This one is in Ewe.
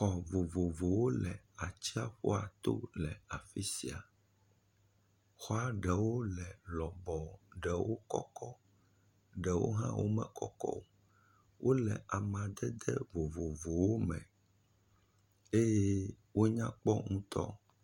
Xɔ vovovowo le atsiaƒuato le afi sia. Xɔa ɖewo le lɔbɔɔ, ɖewo kɔkɔ. Ɖewo hã wome kɔkɔ o. Wole amadede vovovowo me. Eye wonya kpɔ ŋutɔ